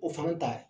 O fana ta